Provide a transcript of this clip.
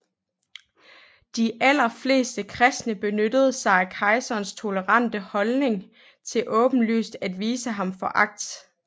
De allerfleste kristne benyttede sig af kejserens tolerante holdning til åbenlyst at vise ham foragt